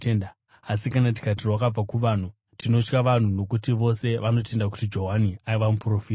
Asi kana tikati, ‘Rwakabva kuvanhu,’ tinotya vanhu, nokuti vose vanotenda kuti Johani aiva muprofita.”